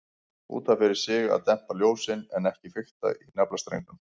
Út af fyrir sig að dempa ljósin, en ekki fikta í naflastrengnum.